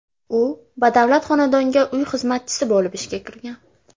U badavlat xonadonga uy xizmatchisi bo‘lib ishga kirgan.